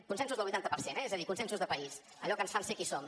consensos del vuitanta per cent eh és a dir consensos de país allò que ens fan ser qui som